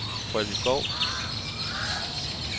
Freddy Skou